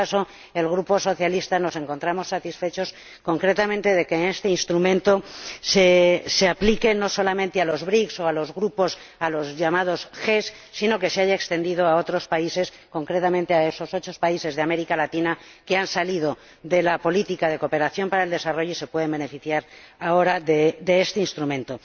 En todo caso, el Grupo socialista se encuentra satisfecho concretamente de que este instrumento se aplique no solamente a los BRICS o a los llamados grupos G, sino de que se haya extendido a otros países, concretamente a esos ocho países de América Latina que han salido de la política de cooperación al desarrollo y se pueden beneficiar ahora de este Instrumento.